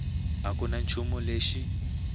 a ku na nchumu lexi